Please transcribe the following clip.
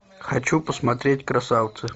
хочу посмотреть красавцы